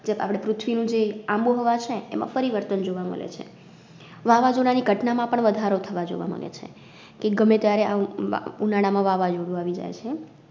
આપડે પૃથ્વી નું જે આબોહવા છે એમાં પરિવર્તન જોવા મળે છે. વાવાજોડા ની ઘટના માં પણ વધારો થવા જોવા મળે છે, કે ગમે ત્યારે આમ મ્ ઉનાળામાં વાવાજોડું આવી જાય છે.